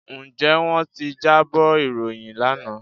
Ǹjẹ́ wọ́n ti jábọ̀ ìròyìn lánàá?